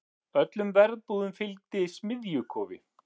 Öllum verbúðum fylgdi smiðjukofi.